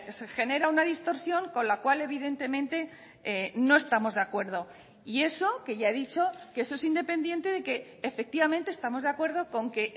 se genera una distorsión con la cual evidentemente no estamos de acuerdo y eso que ya he dicho que eso es independiente de que efectivamente estamos de acuerdo con que